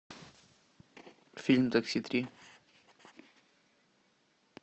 фильм такси три